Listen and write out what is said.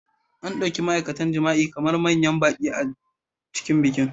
An ɗauki ma'aikatan jima'i kamar manyan baƙi a cikin bikin.